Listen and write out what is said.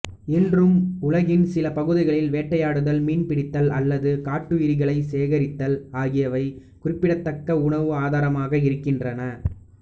இன்றும் உலகின் சில பகுதிகளில் வேட்டையாடுதல் மீன் பிடித்தல் அல்லது காட்டுயிர்களைச் சேகரித்தல் ஆகியவை குறிப்பிடத்தக்க உணவு ஆதாரமாக இருக்கின்றன